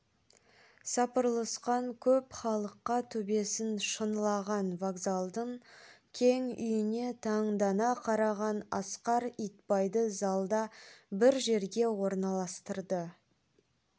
сапырлысқан көп халыққа төбесін шынылаған вокзалдың кең үйіне таңдана қараған асқар итбайды залда бір жерге орналастырды